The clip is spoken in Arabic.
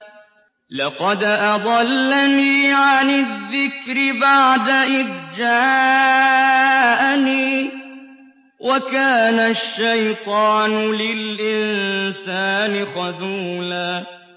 لَّقَدْ أَضَلَّنِي عَنِ الذِّكْرِ بَعْدَ إِذْ جَاءَنِي ۗ وَكَانَ الشَّيْطَانُ لِلْإِنسَانِ خَذُولًا